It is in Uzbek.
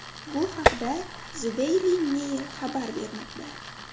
Bu haqda The Daily Mail xabar bermoqda .